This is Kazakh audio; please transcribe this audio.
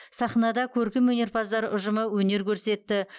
сахнада көркемөнерпаздар ұжымы өнер көрсетті